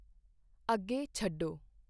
ਅੱਗੇ ਛੱਡੋ